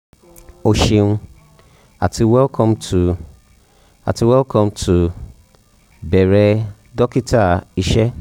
o ṣeun ti welcome to àti welcome to "bẹ̀rẹ̀ dọ́kítà" iṣẹ́